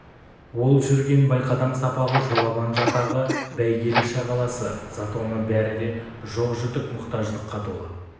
ол жүрген байқадам-сапағы жоламан жатағы бәйгелі-шағаласы затоны бәрі де жоқ-жітік мұқтаждыққа толы